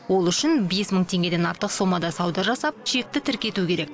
ол үшін бес мың теңгеден артық сомада сауда жасап чекті тіркету керек